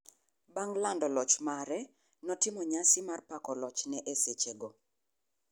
Bang' lando loch mare, nootimo nyasi mar pako lochne e sehego.